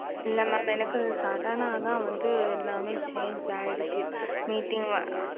இல்ல மாம் எனக்கு Sudden வந்து எல்லாம் Change ஆகிவிடத்த்து